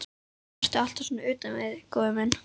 Ertu alltaf svona utan við þig, góði minn?